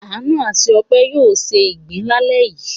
Àánú àti Ọpẹ́ yóò se ìgbín lálẹ́ yìí.